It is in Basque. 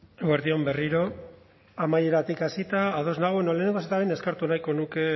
eguerdi on berriro amaieratik hasita ados nago bueno lehenengo gauza eta behin eskertu nahiko nuke